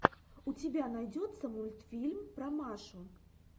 у тебя найдется мультфильм про машу